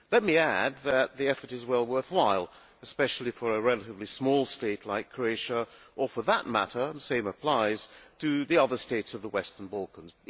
Let me add that the effort is well worthwhile, especially for a relatively small state like Croatia or, for that matter and the same applies for the other states of the Western Balkans.